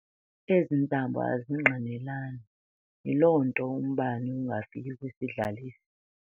Ezi ntambo azingqinelani, yiloo ntoumbane ungafiki kwisidlalisi.